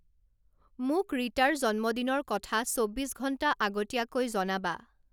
মোক ৰীতাৰ জন্মদিনৰ কথা চৌব্বিছ ঘণ্টা আগতীয়া কৈ জনাবা